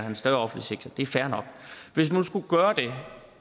en større offentlig sektor det er fair nok hvis vi nu skulle gøre det